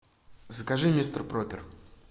закажи мистер проппер